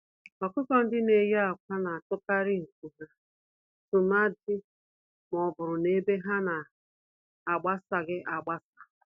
Ọkụkọ-ndị-neyi-ákwà natụkarị nku ha, tụmadi mọbụrụ na ebe ha nọ agbasaghị agbasa